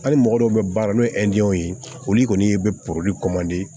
Hali mɔgɔ dɔw bɛ baara la n'o ye ye olu kɔni ye bɛ